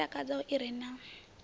i takadzaho i re na